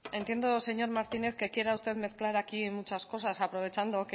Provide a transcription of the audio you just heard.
entiendo señor martínez que quiera usted aquí mezclar muchas cosas aprovechando